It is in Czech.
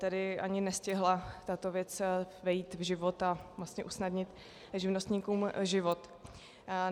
Tedy ani nestihla tato věc vejít v život a vlastně usnadnit živnostníkům život.